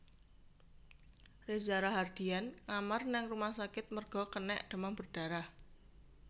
Reza Rahadian ngamar nang rumah sakit merga kenek demam berdarah